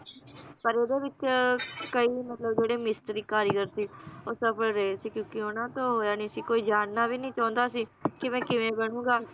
ਪਰ ਓਹਦੇ ਵਿਚ ਕਈ ਮਤਲਬ ਜਿਹੜੇ ਮਿਸਤਰੀ ਕਾਰੀਗਰ ਸੀ ਉਹ ਅਸਫਲ ਰਹੇ ਸੀ, ਕਿਉਂਕਿ ਉਹਨਾਂ ਤੋਂ ਹੋਇਆ ਨੀ ਸੀ ਕੋਈ ਜਾਨਣਾ ਵੀ ਨੀ ਚਾਹੁੰਦਾ ਸੀ ਕਿਵੇਂ ਕਿਵੇਂ ਬਣੂਗਾ